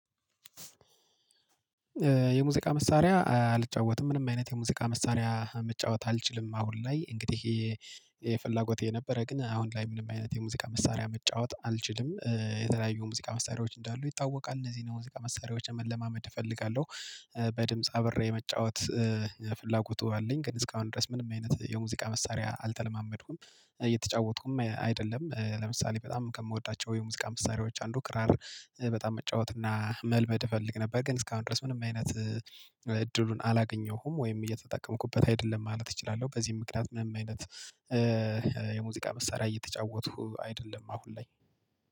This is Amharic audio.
የሙዚቃ መሳሪያ አልጫወትም ምንም አይነት የሙዚቃ መሳሪያ መጫወት አልችልም። አሁን ላይ እንግዲህ የፍላጎቴ ነበረ ግን አሁን ላይ ምንም አይነት የሙዚቃ መሳሪያ መጫወት አልችልም። የተለያዩ ሙዚቃ መሳሪያዎች እንዳሉ ይታወቃል እነዚህን የሙዚቃ መሳሪያዎች ለመለማመድ እፈልጋለሁ። በድምጽ አብሬ የመጫወት ፍላጎቱ አለኝ። ግን እስካሁን ድረስ ምንም አይነት የሙዚቃ መሳሪያ አልተለማመድኩም እየተጫወትኩም አይደለም። ለምሳሌ በጣም ከምወዳቸው የሙዚቃ መሳሪያዎች አንዱ ክራር በጣም መጫወት እና መልመድ እፈልግ ነበር። ግን እስካሁን ድረስ ምንም አይነት እድሉን አላገኘሁም ወይም እየተጠቀምኩበት አይደለም ማለት እችላለሁ። በዚህም ምክንያት ምንም አይነት የሙዚቃ መሳሪያ እየተጫወትኩ አይደለም። አሁን ላይ